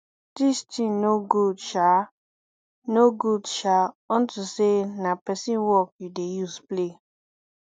dis thing no good shaa no good shaa unto say na person work you dey use play